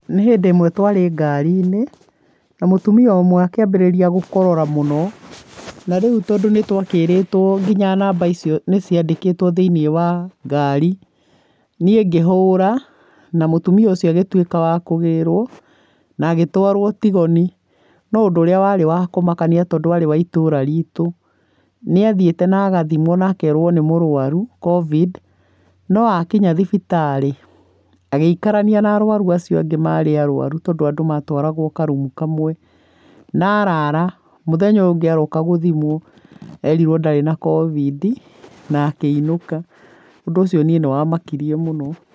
Nĩhĩndĩ ĩmwe twarĩ ngari-inĩ na mũtumia ũmwe akĩambĩrĩria gũkorora mũno. Narĩu tondũ nĩtwakĩrĩtwo na nginya namba icio nĩciandĩkĩtwo thĩiniĩ wa ngari, niĩ ngĩhũra na mũtumia ũcio agĩtuĩka wakũgĩrwo na agĩtwarwo Tigoni. No ũndũ ũrĩa warĩ wakũmakania, tondũ arĩa wa itũũra ritu, nĩathiĩte na agathimwo na akerwo na mũrwaru COVID. No akinya thibitarĩ agĩikarania na arwaru acio angĩ marĩ arwaru, tondũ andũ matwaragwo karumu kamwe na arara, mũthenya ũyũ ũngĩ aroka gũthimwo erirwo ndarĩ na Covid na akĩinũka, ũndũ ũcio niĩ na wamakirie mũno.